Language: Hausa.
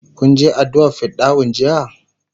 kun Je addu'a r fidda'u jiya?